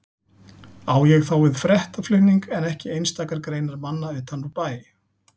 Á ég þá við fréttaflutning en ekki einstakar greinar manna utan úr bæ.